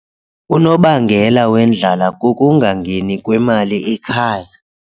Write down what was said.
Unobangela wendlala kukungangeni kwemali ekhaya.